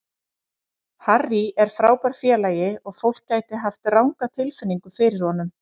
Harry er frábær félagi og fólk gæti hafa ranga tilfinningu fyrir honum.